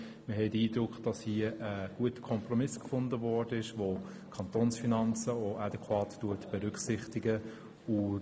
Wir haben den Eindruck, hier wurde ein guter Kompromiss gefunden, der auch die Kantonsfinanzen adäquat berücksichtigt.